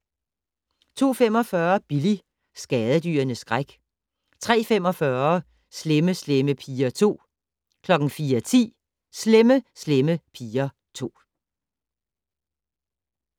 02:45: Billy - skadedyrenes skræk 03:45: Slemme Slemme Piger 2 04:10: Slemme Slemme Piger 2